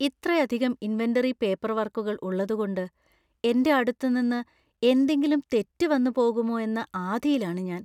ഇത്രയധികം ഇൻവെന്‍ററി പേപ്പർവർക്കുകൾ ഉള്ളതുകൊണ്ട് എൻ്റെ അടുത്ത് നിന്ന് എന്തെങ്കിലും തെറ്റ് വന്ന് പോകുമോ എന്ന ആധിയിലാണ് ഞാൻ.